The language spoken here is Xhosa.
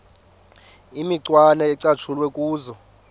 imicwana ecatshulwe kuzo